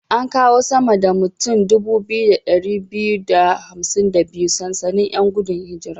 An kawo sama da mutan 2252 sansanin 'yan gudun hijira.